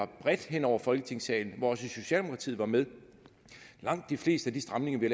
bredt hen over folketingssalen og hvor også socialdemokratiet var med langt de fleste af de stramninger vi